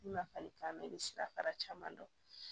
Ma fali kama i be sira fara caman dɔn